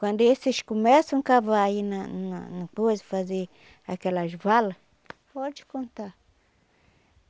Quando esses começam a cavar aí na na no coiso, fazer aquelas vala, pode contar.